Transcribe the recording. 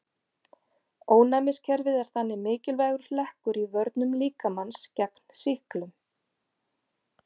Ónæmiskerfið er þannig mikilvægur hlekkur í vörnum líkamans gegn sýklum.